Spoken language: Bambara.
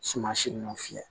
Suman si ninnu fiyɛ